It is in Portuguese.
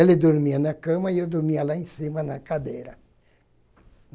Ele dormia na cama e eu dormia lá em cima na cadeira.